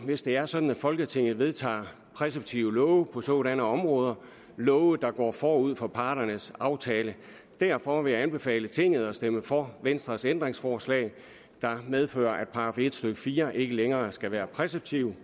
hvis det er sådan at folketinget vedtager præceptive love på sådanne områder love der går forud for parternes aftale derfor vil jeg anbefale tinget at stemme for venstres ændringsforslag der medfører at § en stykke fire ikke længere skal være præceptiv